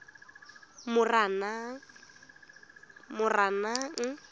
moranang